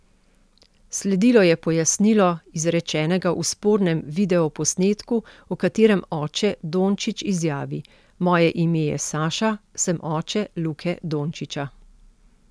Sledilo je pojasnilo izrečenega v spornem videoposnetku, v katerem oče Dončić izjavi: "Moje ime je Saša, sem oče Luke Dončića.